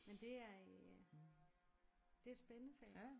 Men det er øh det et spændende fag